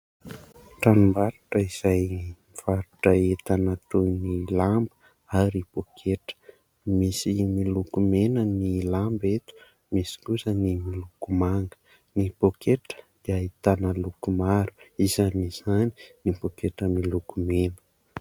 Tranombarotra izay mivarotra entana toy ny lamba ary pôketra. Misy miloko mena ny lamba eto misy kosa ny miloko manga. Ny pôketra dia ahitana loko maro, isan'izany ny pôketra miloko mena.